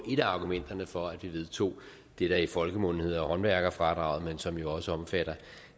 et af argumenterne for at vi vedtog det der i folkemunde hedder håndværkerfradraget men som jo også omfatter